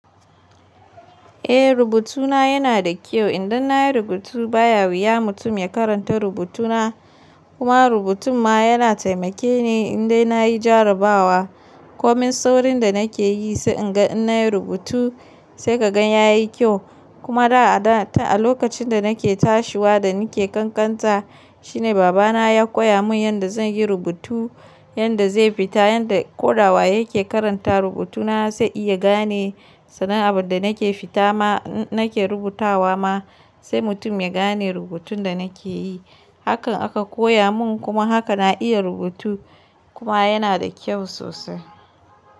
Eh rubutuna yana da kyau. Indai na yi rubutu ba ya wuya mutum ya karanta rubutuna. Kuma rubutun ma yana taimake ni indai na yi jarabawa. Komin saurin da nake yi sai in ga in na yi rubutu sai ka gan ya yi kyau. Kuma da a da ta a lokacin da nake tashiwa da nake ƙanƙanta shine baba na ya koya mun yanda zan yi rubutu. Yanda zai fita, yanda ko dawa yake karanta rubutuna sai iya gane sannan abun da nake fita ma nake rubutawa ma sai mutum ya gane rubutun da nake yi. Hakan aka koya mun kuma haka na iya rubutu kuma yana da kyau sosai.